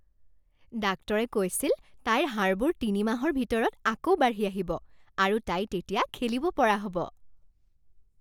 ডাক্তৰে কৈছিল তাইৰ হাড়বোৰ তিনিমাহৰ ভিতৰত আকৌ বাঢ়ি আহিব আৰু তাই তেতিয়া খেলিব পৰা হ'ব।